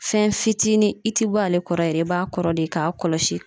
Fɛn fitinin i ti bɔ ale kɔrɔ yɛrɛ i b'a kɔrɔ de k'a kɔlɔsi